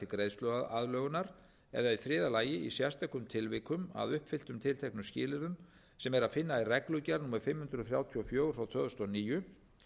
greiðsluaðlögunar eða í þriðja lagi í sérstökum tilvikum að uppfylltum tilteknumskilyrðum sem er að finna í reglugerð númer fimm hundruð þrjátíu og fjögur tvö þúsund og níu